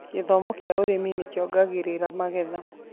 Githomo kia ũrĩmi nĩ kĩongagĩrĩra magetha.